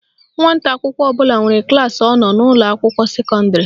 Nwata akwụkwọ ọbụla nwere klaasị ọ nọ n'ụlọakwụkwọ sekọndịrị